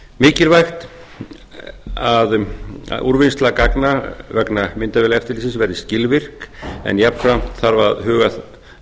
mikilvægt er að úrvinnsla gagna vegna myndavélaeftirlitsins verði skilvirk en jafnframt þarf að huga